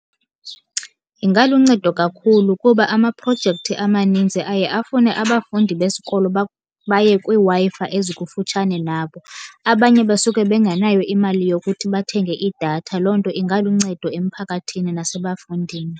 Ingaluncedo kakhulu kuba amaprojekthi amanintsi aye afune abafundi besikolo baye kwiiWi-Fi ezikufutshane nabo, abanye basuke bengenayo imali yokuthi bathenge idatha. Loo nto ingaluncedo emphakathini nasebafundini.